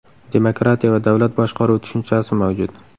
Demokratiya va davlat boshqaruvi tushunchasi mavjud.